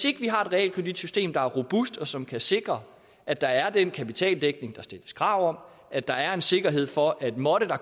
ikke har et realkreditsystem der er robust og som kan sikre at der er den kapitaldækning der stilles krav om at der er en sikkerhed for at hvis måtte